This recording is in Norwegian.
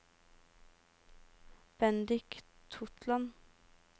Bendik Totland